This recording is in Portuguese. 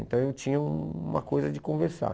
Então eu tinha uma coisa de conversar.